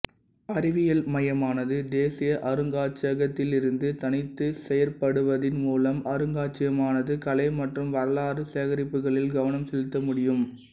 அறிவியல் மையமானது தேசிய அருங்காட்சியகத்திலிருந்து தனித்து செயற்படுவதின் மூலம் அருங்காட்சியகமானது கலை மற்றும் வரலாற்று சேகரிப்புகளில் கவனம் செலுத்தமுடியும்